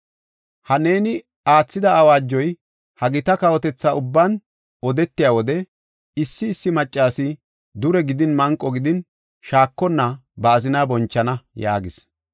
Ha neeni aathida awaajoy ha gita kawotetha ubban odetiya wode issi issi maccasi dure gidin manqo gidin, shaakonna ba azinaa bonchana” yaagis.